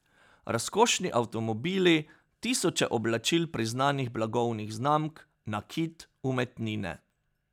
Razkošni avtomobili, tisoče oblačil priznanih blagovnih znamk, nakit, umetnine ...